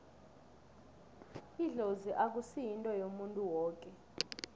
idlozi akusi yinto yomuntu woke